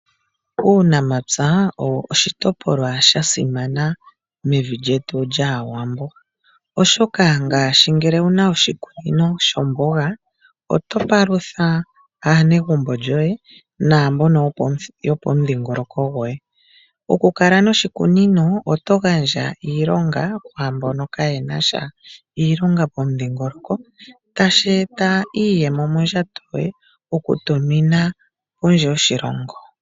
Uunamapya owo oshitopolwa shasimana mevi lyetu lyAwambo, oshoka ngele owuna oshikunino shomboga oto palutha aanegumbo lyoye naambono yopomudhingoloko goye. Okukala moshikunino oto gandja iilonga kwaambono kaayena sha iilonga pomudhingoloko, tashi eta iiyemo mondjato yoye okutumina kondje yoshilongo.